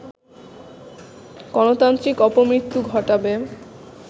গণতান্ত্রিক অপমৃত্যু ঘটাবে